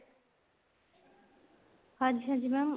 ਹਾਂਜੀ ਹਾਂਜੀ mam